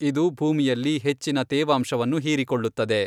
ಇದು ಭೂಮಿಯಲ್ಲಿ ಹೆಚ್ಚಿನ ತೇವಾಂಶವನ್ನು ಹೀರಿಕೊಳ್ಳುತ್ತದೆ.